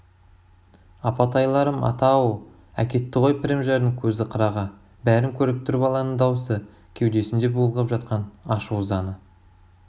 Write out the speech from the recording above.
апатайларым ата-ау әкетті ғой пірімжардың көзі қырағы бәрін көріп тұр баланың даусы кеудесінде булығып жатқан ашу-ызаны